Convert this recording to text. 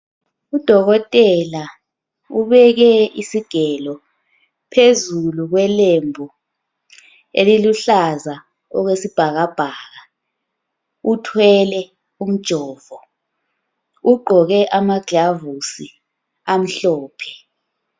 Udokotela ubeke isigelo phezulu kwelembu eliluhlaza okwesibhakabhaka, uthwele umjovo. Ugqoke ama glovisi amhlophe.